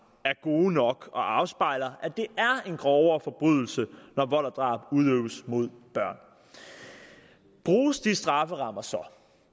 er gode nok og afspejler at det er en grovere forbrydelse når vold og drab udøves mod børn bruges de strafferammer så